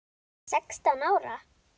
Sextán ára?